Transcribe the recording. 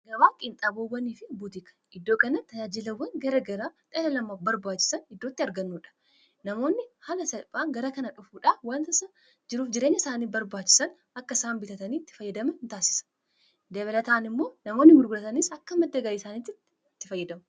gabaa qintaaboowwanii fi buutika iddoo kana tajaajilawwan gara garaa dhala nama barbaachisan iddootti argannuudha namoonni hala salphaa gara kana dhufuudhan wantaa isaa jiruuf jireenya isaanii barbaachisan akka isaan bitataniitti fayyadamaan isaan taasisa dabalataan immoo namoonni gurguraatanis akka maddagalii isaaniitti itti fayyadamu